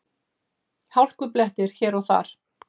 Hálkublettir hér og þar